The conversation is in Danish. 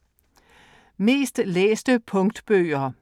Mest læste Punktbøger